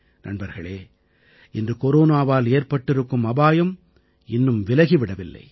நண்பர்களே இன்று கொரோனாவால் ஏற்பட்டிருக்கும் அபாயம் இன்னும் விலகி விடவில்லை